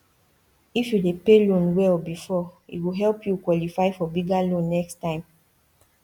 if you dey pay loan well before e go help you qualify for bigger loan next time